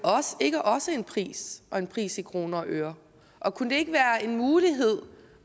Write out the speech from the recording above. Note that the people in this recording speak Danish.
ikke også en pris og en pris i kroner og øre og kunne det ikke være en mulighed